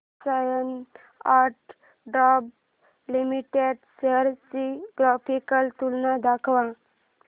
Larsen and टुर्बो limited shares ची graphical तुलना दाखव